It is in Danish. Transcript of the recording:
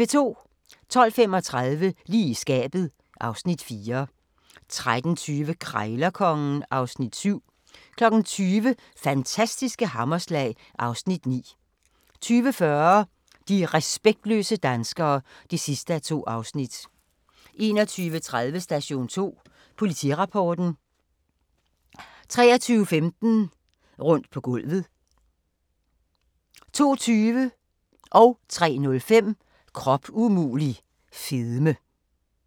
12:35: Lige i skabet (Afs. 4) 13:20: Krejlerkongen (Afs. 7) 20:00: Fantastiske hammerslag (Afs. 9) 20:40: De respektløse danskere (2:2) 21:30: Station 2: Politirapporten 23:15: Rundt på gulvet 02:20: Krop umulig - fedme 03:05: Krop umulig - fedme